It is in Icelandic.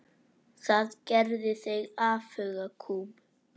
Það gerði þig afhuga kúm.